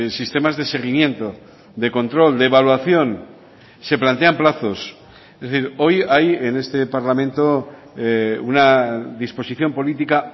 sistemas de seguimiento de control de evaluación se plantean plazos es decir hoy hay en este parlamento una disposición política